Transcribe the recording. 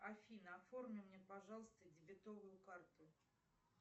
афина оформи мне пожалуйста дебетовую карту